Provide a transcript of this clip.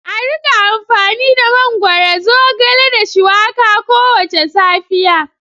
A rika amfani da mangwaro, zogale da shuwaka kowace safiya.